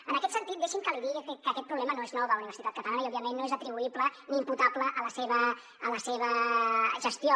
en aquest sentit deixi’m que li digui que aquest problema no és nou a la universitat catalana i òbviament no és atribuïble ni imputable a la seva gestió